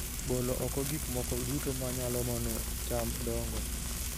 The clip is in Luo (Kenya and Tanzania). Golo oko gik moko duto ma nyalo mono cham dongo